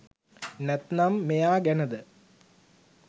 නැත්තම් මෙයා ගැනද?